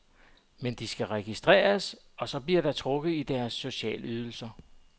Men de skal registreres, og så bliver der trukket i deres socialydelser.